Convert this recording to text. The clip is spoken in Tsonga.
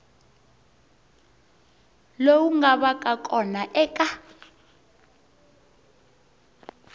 lowu nga vaka kona eka